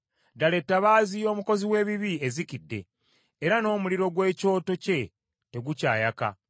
“Ddala etabaaza y’omukozi w’ebibi ezikidde, era n’omuliro gw’ekyoto kye tegukyayaka.